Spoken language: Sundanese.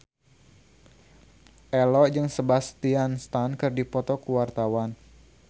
Ello jeung Sebastian Stan keur dipoto ku wartawan